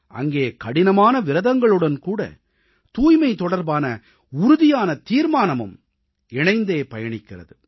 அங்கே கடினமான விரதங்களுடன் கூட தூய்மை தொடர்பான உறுதியான தீர்மானமும் இணைந்தே பயணிக்கிறது